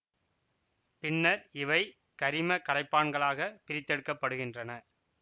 பின்னர் இவை கரிம கரைப்பான்களாக பிரித்தெடுக்கப்படுகின்றன